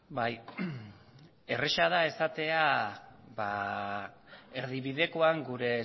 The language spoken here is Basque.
bai erraza da esatea erdibidekoan gure